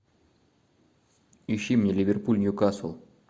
ищи мне ливерпуль ньюкасл